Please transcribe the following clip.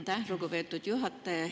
Aitäh, lugupeetud juhataja!